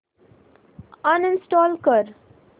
uninstall कर